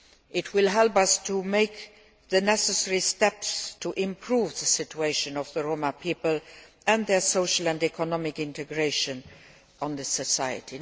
It will help us to take the necessary steps to improve the situation of the Roma people and their social and economic integration into society.